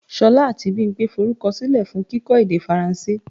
Ṣolá àti Bimpe forúkọ silẹ fún kíkọ́ èdè Faransé.